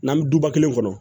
N'an bɛ duba kelen kɔnɔ